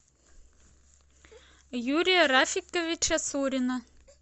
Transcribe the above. юрия рафиковича сурина